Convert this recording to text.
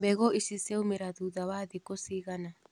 Mbegũ ici ciaumĩra thutha wa thikũ cigana.